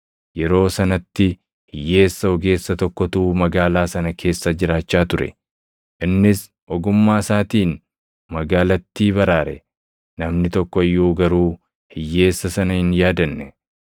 Yeroo sanatti hiyyeessa ogeessa tokkotu magaalaa sana keessa jiraachaa ture; innis ogummaa isaatiin magaalattii baraare. Namni tokko iyyuu garuu hiyyeessa sana hin yaadanne.